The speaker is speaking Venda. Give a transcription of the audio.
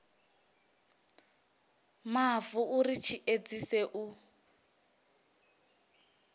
mavu uri tshi edzise u